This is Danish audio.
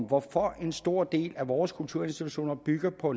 hvorfor en stor del af vores kulturinstitutioner bygger på